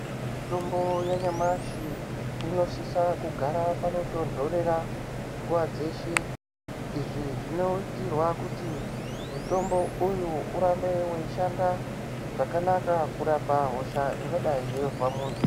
Mitombo ya nyamashi ino sisa kugara pano tondorera nguva dzeshe izvi zvinoitirwa kuti mutombo uyu urambe wei shanda zvakanaka kurapa hosha ingadai yeizwa muntu.